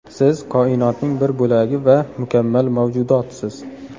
Siz koinotning bir bo‘lagi va mukammal mavjudotsiz.